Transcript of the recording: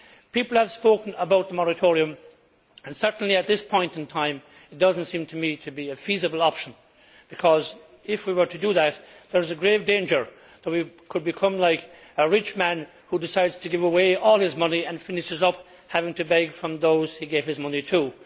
People have spoken about a moratorium and certainly, at this point in time, it does not seem to me to be a feasible option, because if we were to do that, there is a grave danger that we could become like a rich man who decides to give away all his money and finishes up having to beg from those he gave his money to.